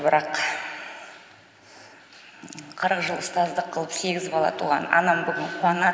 бірақ қырық жыл ұстаздық қылып сегіз бала туған анам бүгін қуанады